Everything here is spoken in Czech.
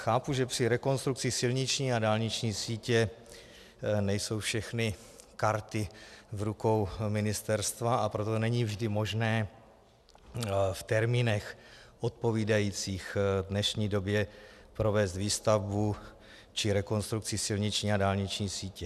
Chápu, že při rekonstrukci silniční a dálniční sítě nejsou všechny karty v rukou ministerstva, a proto není vždy možné v termínech odpovídajících dnešní době provést výstavbu či rekonstrukci silniční a dálniční sítě.